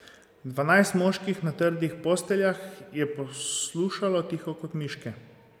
Dvanajst moških na trdih posteljah je poslušalo tiho kot miške.